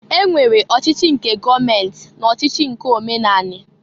E nwere ọchịchị nke gọọment na ọchịchị nke omenani.